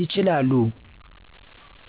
ይችላሉ።